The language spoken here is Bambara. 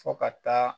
Fo ka taa